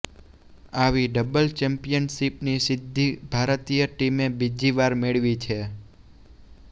આવી ડબલ ચૅમ્પિયનશિપની સિદ્ધિ ભારતીય ટીમે બીજી વાર મેળવી છે